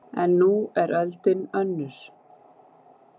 En nú er öldin önnur